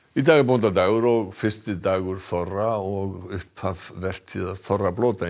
í dag er bóndadagur og fyrsti dagur þorra og upphaf vertíðar þorrablóta í